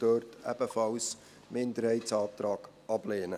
dort bitten wir Sie ebenfalls, den Minderheitsantrag abzulehnen.